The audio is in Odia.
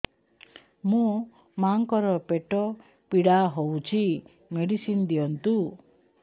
ମୋ ମାଆଙ୍କର ପେଟ ପୀଡା ହଉଛି ମେଡିସିନ ଦିଅନ୍ତୁ